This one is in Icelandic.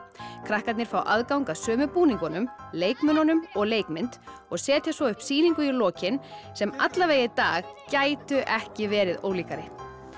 krakkarnir fá aðgang að sömu búningunum leikmununum og leikmynd og setja svo upp sýningu í lokin sem allavega í dag gætu ekki verið ólíkari